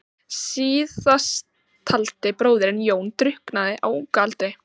Síðasttaldi bróðirinn, Jón, drukknaði á unga aldri.